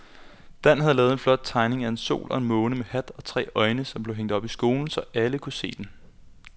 Dan havde lavet en flot tegning af en sol og en måne med hat og tre øjne, som blev hængt op i skolen, så alle kunne se den.